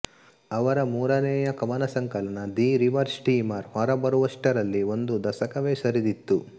ಅವರ ಮೂರನೆಯ ಕವನಸಂಕಲನ ದಿ ರಿವರ್ ಸ್ಟೀಮರ್ ಹೊರಬರುವಷ್ಟರಲ್ಲಿ ಒಂದು ದಶಕವೇ ಸರಿದಿತ್ತು